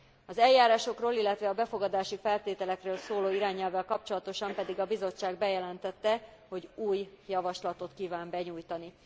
Az eljárásokról, illetve a befogadási feltételekről szóló irányelvvel kapcsolatosan pedig a Bizottság bejelentette, hogy új javaslatot kíván benyújtani.